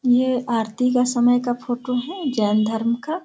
ये आरती का समय का फोटो है जैन धर्म का।